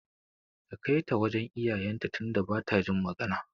Ka Kaita wajan iyayen ta tunda bata jin magana